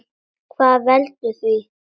Hvað veldur því?